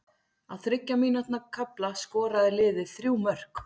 Á þriggja mínútna kafla skoraði liðið þrjú mörk.